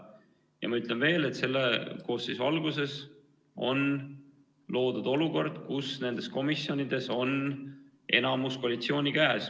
Ja ma ütlen veel kord: selle koosseisu alguses sai loodud olukord, kus nendes komisjonides on enamus koalitsiooni käes.